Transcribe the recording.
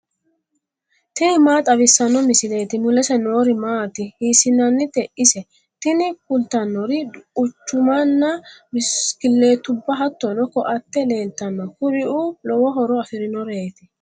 tini maa xawissanno misileeti ? mulese noori maati ? hiissinannite ise ? tini kultannori quchumanna bisikilliitubba hattono ko"atte leeltanno kuriuu lowo horo afirinoreeti.